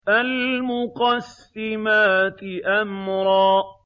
فَالْمُقَسِّمَاتِ أَمْرًا